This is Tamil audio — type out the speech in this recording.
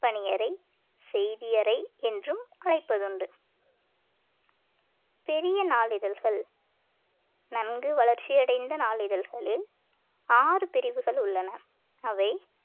பணியறை செய்தியறை என்றும் அழைப்பதுண்டு பெரிய நாளிதழ்கள் நன்கு வளர்ச்சியடைந்த நாளிதழ்களில் ஆறு பிரிவுகள் உள்ளன அவை